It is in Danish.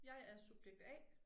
Jeg er subjekt A